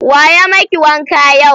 Wa ya maki wanka yau?